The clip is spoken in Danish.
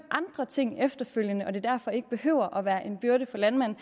ting efterfølgende og at det derfor ikke behøver at være en byrde for landmanden